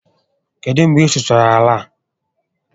Kedụ mgbe ị sụchasịrị àlà a?